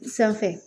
Sanfɛ